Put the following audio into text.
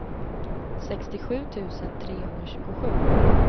sextiosju tusen trehundratjugosju